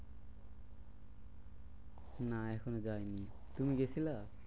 না এখনো যায়নি, তুমি গেছিলা?